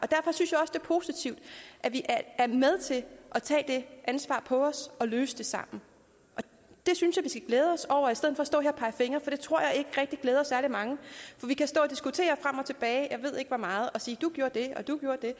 og positivt at vi er med til at tage det ansvar på os og løse det sammen det synes skal glæde os over i stedet for at stå her og pege fingre for det tror jeg ikke rigtig glæder særlig mange for vi kan stå og diskutere frem og tilbage jeg ved ikke hvor meget og sige at du gjorde det og du gjorde det